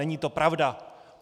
Není to pravda.